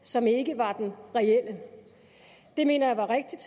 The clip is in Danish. som ikke var den reelle det mener jeg var rigtigt